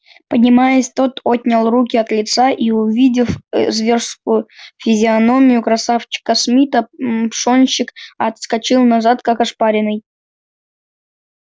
поднимаясь тот отнял руки от лица и увидев ээ зверскую физиономию красавчика смита мм пшонщик отскочил назад как ошпаренный